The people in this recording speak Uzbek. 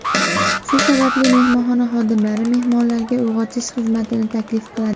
Shu sababli mehmonxona xodimlari mehmonlarga uyg‘otish xizmatini taklif qiladi.